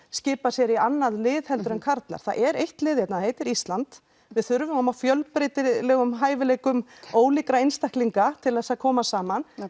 skipa sér í annað lið en karlar það er eitt lið hérna það heitir Ísland við þurfum á fjölbreytilegum hæfileikum ólíkra einstaklinga til að koma saman